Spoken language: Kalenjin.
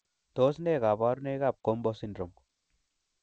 Tos nee koborunoikab GOMBO syndrome?